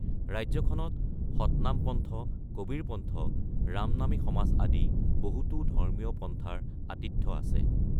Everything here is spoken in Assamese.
ৰাজ্যখনত সতনামপন্থ, কবীৰপন্থ, ৰামনামী সমাজ আদি বহুতো ধৰ্মীয় পন্থাৰ আতিথ্য আছে।